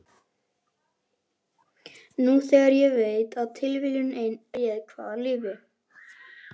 Nú þegar ég veit að tilviljun ein réð hvaða lífi